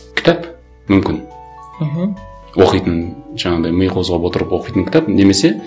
кітап мүмкін мхм оқитын жаңағындай ми қозғап отырып оқитын кітап немесе